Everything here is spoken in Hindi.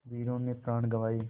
वीरों ने है प्राण गँवाए